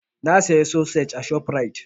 Na saya sosej a ShopRite.